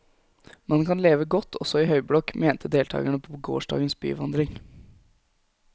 Man kan leve godt også i høyblokk, mente deltagerne på gårsdagens byvandring.